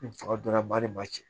fanga dɔ la de b'a cɛ